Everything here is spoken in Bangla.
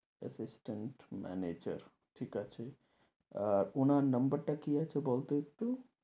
assistant manager ঠিক আছে, আহ উনার number টা কি আছে বল তো একটু।